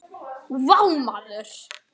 Vá maður!